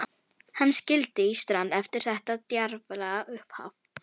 Hann sigldi í strand eftir þetta djarflega upphaf.